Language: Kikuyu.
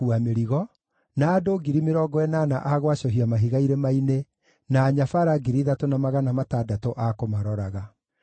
Nĩandĩkithirie andũ 70,000 a gũkuua mĩrigo, na 80,000 a gwacũhia mahiga irĩma-inĩ, na anyabara 3,600 a kũmaroraga.